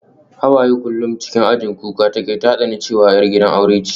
Hawaye kullum cikin ajin kuka take, ta tsani cewa ita 'yar gidan aure ce